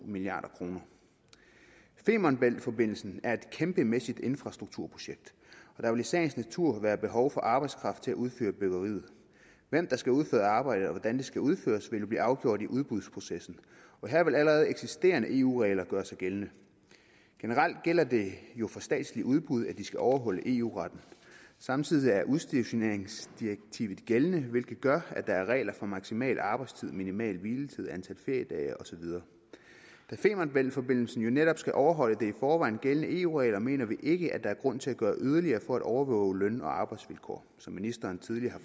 milliard kroner femern bælt forbindelsen er et kæmpemæssigt infrastrukturprojekt og der vil i sagens natur være behov for arbejdskraft til at udføre byggeriet hvem der skal udføre arbejdet og hvordan det skal udføres vil blive afgjort i udbudsprocessen her vil allerede eksisterende eu regler gøre sig gældende generelt gælder det jo for statslige udbud at de skal overholde eu retten samtidig er udstationeringsdirektivet gældende hvilket gør at der er regler for maksimal arbejdstid minimal hviletid antal feriedage og så videre da femern bælt forbindelsen netop skal overholde de i forvejen gældende eu regler mener vi ikke at der er grund til at gøre yderligere for at overvåge løn og arbejdsvilkår som ministeren tidligere